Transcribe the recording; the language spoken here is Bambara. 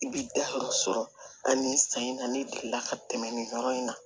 I bi dayɔrɔ sɔrɔ ani san in na ne delila ka tɛmɛ nin yɔrɔ in na